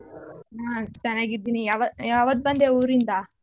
ನಾನ್ ಚೆನ್ನಾಗಿದ್ದೀನಿ ಯಾವ್ ಯಾವತ್ ಬಂದೆ ಊರಿಂದ?